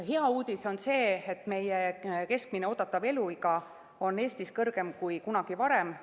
Hea uudis on see, et keskmine oodatav eluiga on Eestis pikem kui kunagi varem.